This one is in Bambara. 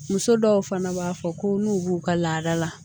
Muso dɔw fana b'a fɔ ko n'u b'u ka laada la